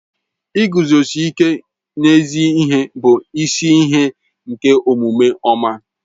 Ịguzosi ịke n'ezi ihe bụ isi ihe nke omume ọma